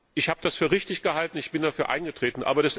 Ich habe das für richtig gehalten, ich bin dafür eingetreten.